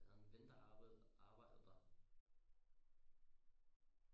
Jeg havde en ven der arbejdede arbejder der